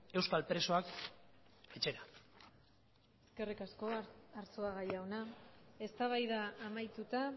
euskal presoak etxera eskerrik asko arzuaga jauna eztabaida amaituta